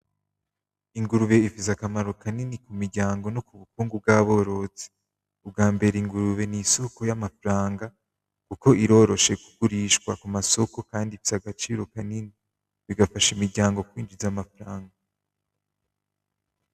Ingurube ifise akamaro kanini kumiryango no kubukungu bw'aborozi ubwambere ingurube n'isoko y'amafaranga kuko iroroshe kugurishwa kuma soko kandi ifise agaciro kanini bigafasha imiryango kwinjiza amafaranga.